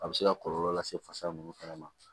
A bɛ se ka kɔlɔlɔ lase fasa nunnu fɛnɛ ma